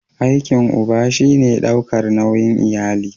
Aikin uba shi ne daukar nauyin iyali.